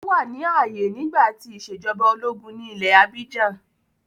Ó wà ní ààyè nígbà tí ìṣèjọba ológun ní ilẹ̀ abíjan.